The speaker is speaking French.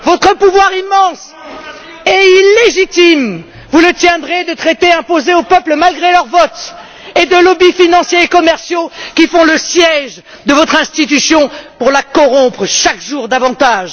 Votre pouvoir immense et illégitime, vous le tiendrez de traités imposés aux peuples malgré leur vote et de lobbys financiers et commerciaux qui font le siège de votre institution pour la corrompre chaque jour davantage.